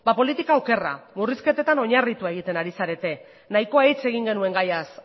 politika okerra murrizketetan oinarritua egiten ari zarete nahikoa hitz egin genuen gaiaz